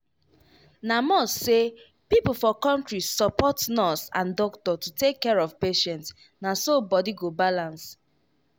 na must say people for country support nurse and doctor to take care of patient na so body go balance.